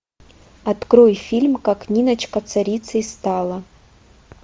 открой фильм как ниночка царицей стала